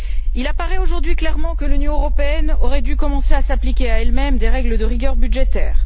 Il apparaît aujourd'hui clairement que l'Union européenne aurait dû commencer à s'appliquer à elle même des règles de rigueur budgétaire.